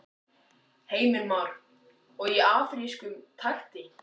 Heimir Már: Og í afrískum takti?